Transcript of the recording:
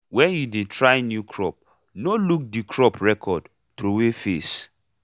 wen you dey try new crop no look the crop record throway face